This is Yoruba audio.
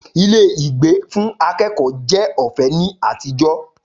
Ilé ìgbé fún akẹ́kọ̀ọ́ jẹ́ ọ̀fẹ́ ní àtijọ́